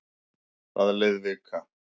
Það leið vika.